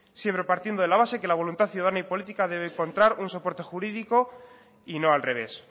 siempre partiendo de la base de que la voluntad ciudadana y política debe encontrar un soporte jurídico y no al revés